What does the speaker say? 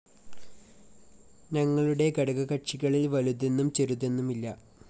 ഞങ്ങളുടെ ഘടകകക്ഷികളില്‍ വലുതെന്നും ചെറുതെന്നുമില്ല